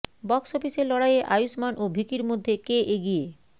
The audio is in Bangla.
বক্স অফিসের লড়াইয়ে আয়ুষ্মান ও ভিকির মধ্যে কে এগিয়ে